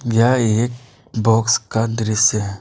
यह एक बॉक्स का दृश्य है।